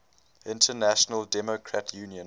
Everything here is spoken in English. international democrat union